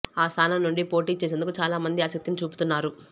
ఆ స్థానం నుండి పోటీ చేసేందుకు చాలా మంది ఆసక్తిని చూపుతున్నారు